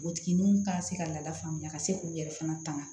Npogotigininw ka se ka lafaamuya ka se k'u yɛrɛ fana tanga